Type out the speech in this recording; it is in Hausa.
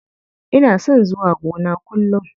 Ina son zuwa gona kullum.